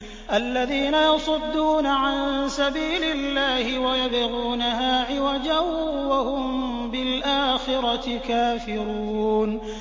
الَّذِينَ يَصُدُّونَ عَن سَبِيلِ اللَّهِ وَيَبْغُونَهَا عِوَجًا وَهُم بِالْآخِرَةِ كَافِرُونَ